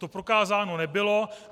To prokázáno nebylo.